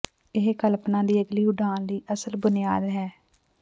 ਇਹ ਕਲਪਨਾ ਦੀ ਅਗਲੀ ਉਡਾਨ ਲਈ ਅਸਲ ਬੁਨਿਆਦ ਹੈ